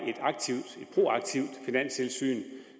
proaktivt finanstilsyn